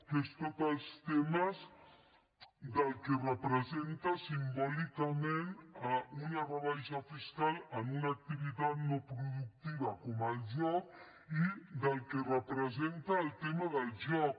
que són tots els temes del que representa simbòlicament una rebaixa fiscal en una activitat no productiva com el joc i del que representa el tema del joc